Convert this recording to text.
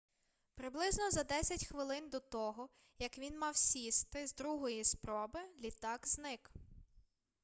приблизно за десять хвилин до того як він мав сісти з другої спроби літак зник